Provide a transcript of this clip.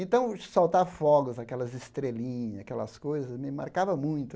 Então, soltar fogos, aquelas estrelinhas, aquelas coisas, me marcava muito.